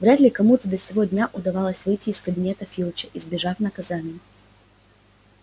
вряд ли кому до сего дня удавалось выйти из кабинета филча избежав наказания